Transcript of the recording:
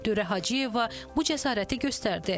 Dürrə Hacıyeva bu cəsarəti göstərdi.